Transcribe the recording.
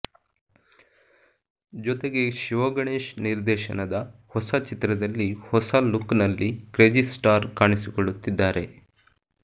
ಜೊತೆಗೆ ಶಿವಗಣೇಶ್ ನಿರ್ದೇಶನದ ಹೊಸ ಚಿತ್ರದಲ್ಲಿ ಹೊಸ ಲುಕ್ ನಲ್ಲಿ ಕ್ರೇಜಿಸ್ಟಾರ್ ಕಾಣಿಸಿಕೊಳ್ಳುತ್ತಿದ್ದಾರೆ